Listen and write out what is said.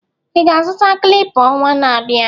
ị ga-azụta clipper ọnwa na-abịa?